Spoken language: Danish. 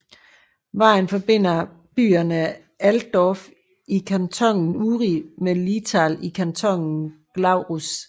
Vejen forbinder byerne Altdorf i kantonen Uri med Linthal i kantonen Glarus